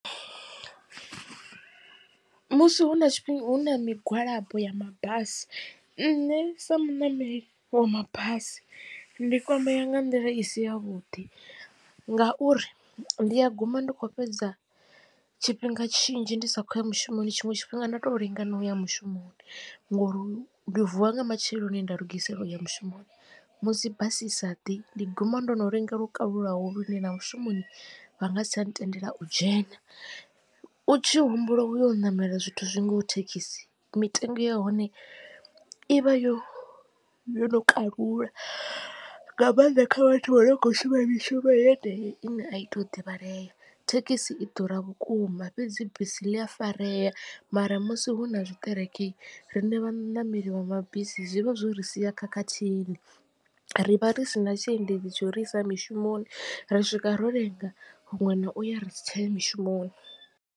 Musi hu na hu na migwalabo ya mabasi nṋe sa muṋameli wa mabasi ndi kwamea nga nḓila i si ya vhuḓi ngauri ndi a guma ndi kho fhedza tshifhinga tshinzhi ndi sa khou ya mushumoni tshiṅwe tshifhinga nda to lenga na uya mushumoni. Ngori ndi vuwa nga matsheloni nda lugisela uya mushumoni musi basi i saḓi ndi guma ndo no lenga lwo kalulaho lune na mushumoni vha nga si tsha ntendela u dzhena. U tshi humbula uyo u ṋamela zwithu zwi ngaho thekhisi mitengo ya hone ivha yo yo no kalula nga mannḓa kha vhathu vho no khou shuma mishumo yenei ine a i to u divhalea. Thekhisi i ḓura vhukuma fhedzi bisi ḽi afarea mara musi hu na zwiṱereke riṋe vhaṋameli vha mabisi zwivha zwo ri sia khakhathini ri vha ri si na tshiendedzi tsho ri isa mishumoni ri swika ro lenga huṅwe na uya ri si tsha ya mishumoni.